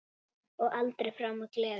Og aldrei framar gleði.